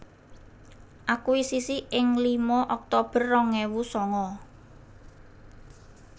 Akuisisi ing lima oktober rong ewu sanga